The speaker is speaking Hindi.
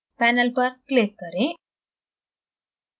panel पर click करें